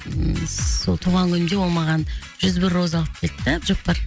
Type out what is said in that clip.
ы сол туған күнімде ол маған жүз бір роза алып келді де әбдіжаппар